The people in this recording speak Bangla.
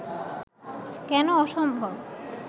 কেন অসম্ভব